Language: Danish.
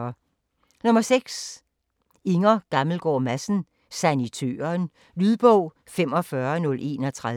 6. Gammelgaard Madsen, Inger: Sanitøren Lydbog 45031